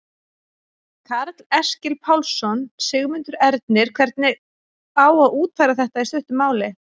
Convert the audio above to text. Karl Eskil Pálsson: Sigmundur Ernir, hvernig á að útfæra þetta í stuttu máli?